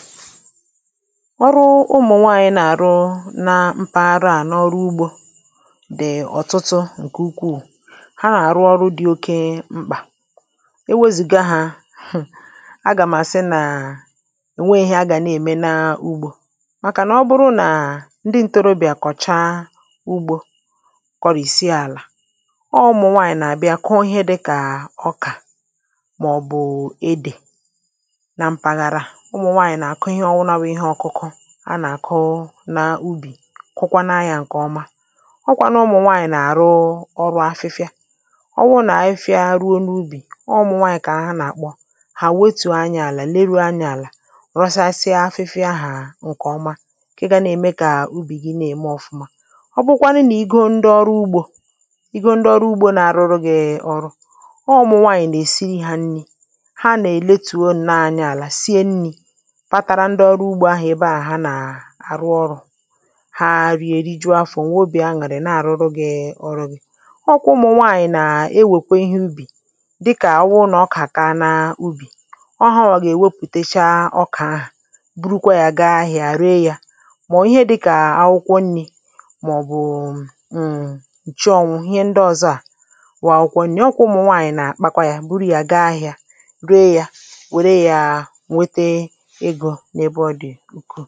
nwụrụ ụmụ̀nwaànyị̀ na-àrụ na mpaghara à nọọrụ ugbȯ dị̀ ọ̀tụtụ ǹkè ukwuù ha na-arụ ọrụ dị̇ oke m̀kpà e wėzìgà hȧ hm̀ agàmàsị nàà ènweėhịa agȧ na-ème n’ugbȯ màkà nà ọ bụrụ nà ndị ǹtorobị̀à kọ̀chaa ugbȯ kọ̀rìsie àlà ọọ̇ ụmụ̀nwaànyị̀ nà-àbịa kụọ ihe dịkà ọkà màọ̀bụ̀ edè na mpàghàra à a nà-àkụ n’ubì kwakwanụ anyȧ ǹkè ọma ọkwȧ n’ụmụ̀nwaànyị̀ nà-àrụ ọrụ̇ afịfịa ọwụ̇ nà-afịa arụ n’ubì ọọ̇ n’ụmụ̀nwaànyị̀ kà ha nà-àkpọ hà wetù anyi̇ àlà lee rù anyi̇ àlà rọsasịa afịfịa hà ǹkè ọma kà ga nà-ème kà ubì gi nà-ème ọ̀fụma ọ bụkwanụ nà i go ndị ọrụ ugbȯ i go ndị ọrụ ugbȯ nà-arụrụ gị ọrụ ọọ̇ n’ụmụ̀nwaànyị̀ nà-èsiri hȧ nni̇ ha nà-èletùo nna anyi̇ àlà sie nni̇ ndị ọrụ ugbȯ ahụ̀ ebe à ha nà àrụ ọrụ̇ ha rie rijuo afọ̀ nwobì aṅụrị na-àrụ ọrụ̇ gị̇ ọrụ gị̇ ọ ụkwụ ụmụ̀ nwaànyị̀ nà-ewèkwe ihe ubì dịkà awụ nà ọ kà taa n’ubì ọ họwȧwà gà-èwepùtecha ọkà ahụ̀ burukwa yȧ gaa ahị̇ȧ ree yȧ màọ̀bụ̀ ihe dịkà akwụkwọ nni̇ màọ̀bụ̀ụ̀ ǹǹǹchi ọ̀wụ̀ ihe ndị ọ̀zọ à wù àkwùkwọ nri̇ akwụkwọ nwaànyị̀ nà akpakwa yȧ buru yȧ gaa ahị̇ȧ ree yȧ wèe yȧ nwete ịgȯ ǹkù